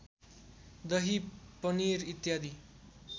दही पनिर इत्यादि